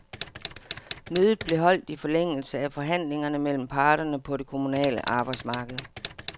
Mødet blev holdt i forlængelse af forhandlingerne mellem parterne på det kommunale arbejdsmarked.